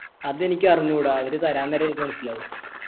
അതെനിക്കറിഞ്ഞുടാ അവര് തരാൻ നേരെ എനിക്ക് മനസ്സിലാവു